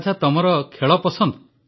ଆଚ୍ଛା ତ ତମର ଖେଳ ପସନ୍ଦ